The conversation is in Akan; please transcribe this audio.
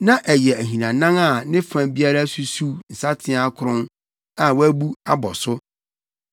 Na ɛyɛ ahinanan a ne fa biara susuw nsateaa akron a wɔabu abɔ so.